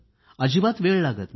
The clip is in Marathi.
अजिबात वेळ लागत नाही